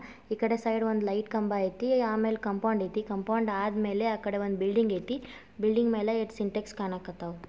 ಈ ಕಡೆ ಸೈಡ್ ಒಂದು ಲೈಟ್ ಕಂಬ ಆಯ್ತಿ ಆಮೇಲೆ ಕಾಂಪೌಂಡ್ ಆಯ್ತಿ ಕಾಂಪೌಂಡ್ ಆದ್ಮೇಲೆ ಅಕಡೆ ಒಂದು ಬಿಲ್ಡಿಂಗ್ ಅಯ್ತಿ ಬಿಲ್ಡಿಂಗ್ ಮೇಲೆ ಎರಡು ಸಿಂಟ್ಯಾಕ್ಸ್ ಕಾಣಾಕತ್ತವು--